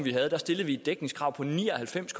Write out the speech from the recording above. vi havde stillede vi et dækningskrav på ni og halvfems